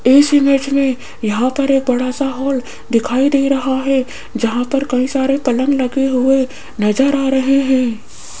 इस इमेज में यहां पर एक बड़ा सा हॉल दिखाई दे रहा है जहां पर कई सारे पलंग लगे हुए नजर आ रहे हैं।